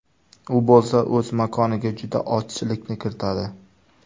U bo‘lsa o‘z makoniga juda ozchilikni kiritadi.